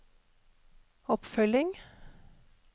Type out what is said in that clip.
oppfølging